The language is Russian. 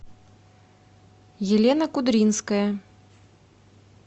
елена кудринская